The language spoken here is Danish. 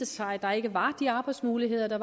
sig der ikke var de arbejdsmuligheder